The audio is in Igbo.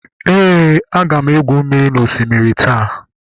Ee, aga m egwu mmiri n'osimiri taa.